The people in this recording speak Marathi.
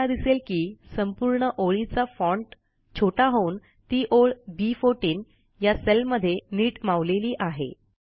तुम्हाला दिसेल की संपूर्ण ओळीच्या फाँट छोटा होऊन ती ओळ बी14 या सेलमध्ये नीट मावलेली आहे